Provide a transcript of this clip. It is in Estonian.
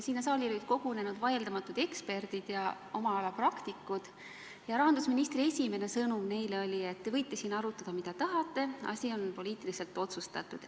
Sinna saali olid kogunenud vaieldamatud eksperdid ja oma ala praktikud ja rahandusministri esimene sõnum neile oli see, et te võite siin arutada, mida tahate, asi on poliitiliselt otsustatud.